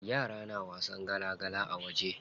Yara na wasan gala gala a waje.